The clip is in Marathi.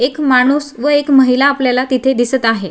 एक माणूस व एक महिला आपल्याला तिथे दिसत आहे.